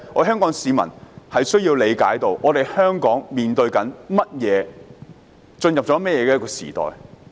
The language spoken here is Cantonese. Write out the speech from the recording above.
香港市民需要理解香港正面對甚麼問題、香港正進入甚麼時代。